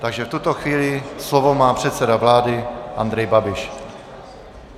Takže v tuto chvíli má slovo předseda vlády Andrej Babiš.